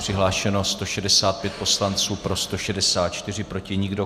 Přihlášeno 165 poslanců, pro 164, proti nikdo.